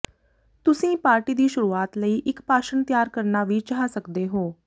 ਤੁਸੀਂ ਪਾਰਟੀ ਦੀ ਸ਼ੁਰੂਆਤ ਲਈ ਇਕ ਭਾਸ਼ਣ ਤਿਆਰ ਕਰਨਾ ਵੀ ਚਾਹ ਸਕਦੇ ਹੋ